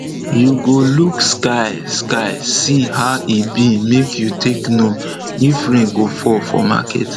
you go look sky sky see how e be make you take know if rain go fall for market